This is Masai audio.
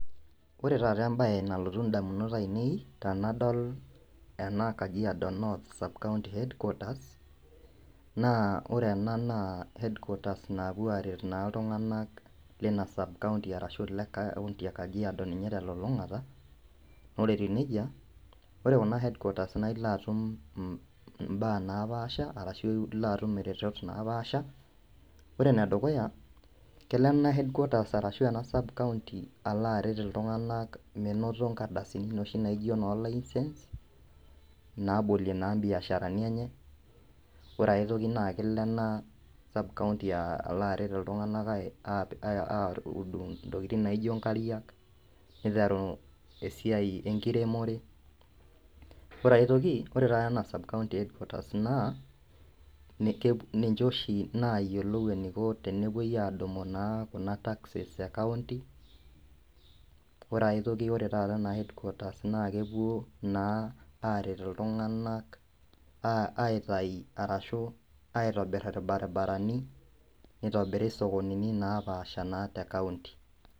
Kore taata embai nalotuu ndamunot ainen tanadol ana kajiado North sub-county headquaters, naa ore ena naa headquaters naapuo naa aret naa ltung'anak leinia sub-county arashu le county e kajiado ninye telulung'ata, oree etuu neja kore kuna headquaters naa ilo atum mbaa napaasa arashu ilo atum retot napaasha, kore nedukuya kelo ana headquaters kelo ana headquaters arashu ena sub-county aloo aret ltung'anak meinotoo nkardasini noshi naijoo noo licence nabolie naa biasharani enye ,kore aitoki naa kelo anaa sub-county alo aret ltung'anak awud ntokitin naijo nkariak, neiteru siai enkiremore kore aitoki kore ana sub-county headquaters naa ninche oshii nayelou neiko tenepuoi adumu naa kuna taxes e county, kore aitoki oree taa anaa headquaters naa kepuo naa aret ltung'anak aitai arashuu aitobir lbarbarani neitobiri sokonini napashpaasha naa te county.